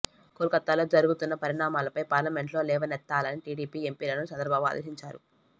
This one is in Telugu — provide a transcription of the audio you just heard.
కోల్ కతాలో జరుగుతున్న పరిణామాలపై పార్లమెంటులో లేవనెత్తాలని టీడీపీ ఎంపీలను చంద్రబాబు ఆదేశించారు